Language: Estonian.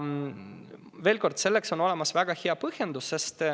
Veel kord: sellel on väga hea põhjendus.